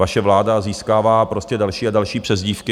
Vaše vláda získává prostě další a další přezdívky.